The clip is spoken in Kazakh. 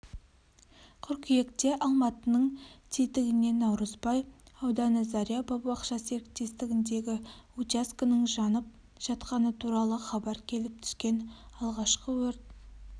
қыркүйекте алматының тетігіненаурызбай ауданы заря бау-бақша серіктестігіндегі учаскенің жанып жатқаны туралы хабар келіп түскен алғашқы өрт